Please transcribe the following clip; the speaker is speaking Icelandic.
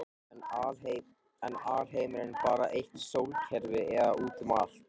er alheimurinn bara eitt sólkerfi eða útum allt